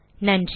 நன்றி